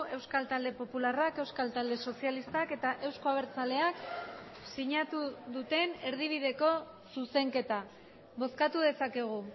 euskal talde popularrak euskal talde sozialistak eta euzko abertzaleak sinatu duten erdibideko zuzenketa bozkatu dezakegu